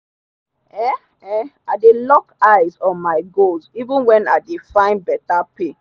um um i dey lock eyes on my goal even when i dey find better pay.